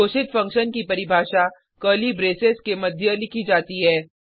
घोषित फंक्शन की परिभाषा कर्ली ब्रेसेस के मध्य लिखी जाती है